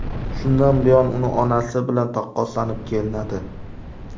Shundan buyon uni onasi bilan taqqoslanib kelinadi.